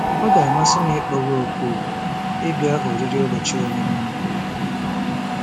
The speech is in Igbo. Ọ ga-amasị m ịkpọ gị òkù ịbịa oriri ụbọchị ọmụmụ m.